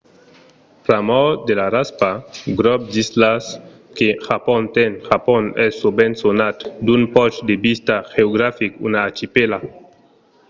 pr'amor de la raspa/grop d'islas que japon ten japon es sovent sonat d'un ponch de vista geographic una archipèla